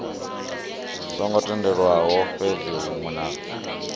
songo tendelwaho fhethu hunwe na